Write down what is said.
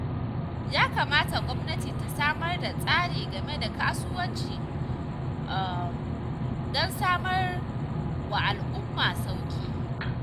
Ya kamata gwamnati ta samar da tsari game da kasuwanci don samar wa al'umma sauƙi.